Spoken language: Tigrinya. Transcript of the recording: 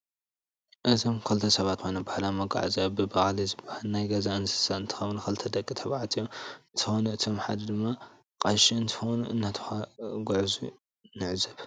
እዞም ክልተ ሰባት ኮይኖም ባህላዊ መጓዓዝያ ብበቅሊ ዝባሃል ናይ ገዛ እንስስሳ አንትከውን ክልተ ደቂ ተባዓትዮም እንትኮኑ እቶም ሓደ ድማ ቀሽ እንትኮኑ እንትጓዓዙ ነዕዘብ።